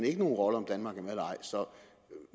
ikke nogen rolle om danmark er med eller ej så